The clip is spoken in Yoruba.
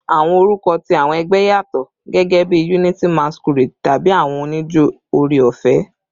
Awọn orukọ ti awọn ẹgbẹ yatọ, gẹgẹbi "Unity Masquerade" tabi "Awọn onijo Ore-ọfẹ."